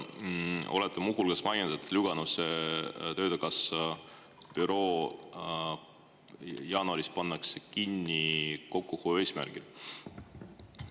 Te olete muu hulgas maininud, et töötukassa Lüganuse büroo pannakse jaanuaris kokkuhoiu eesmärgil kinni.